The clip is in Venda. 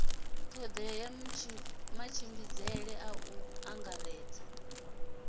todea matshimbidzele a u angaredza